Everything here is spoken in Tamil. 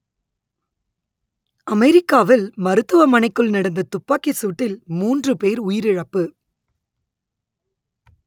அமெரிக்காவில் மருத்துவமனைக்குள் நடந்த துப்பாக்கி சூட்டில் மூன்று பேர் உயிரிழப்பு